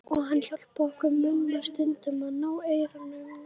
Og hann hjálpaði okkur Mumma stundum að ná eyrum hennar.